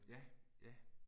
Ja, ja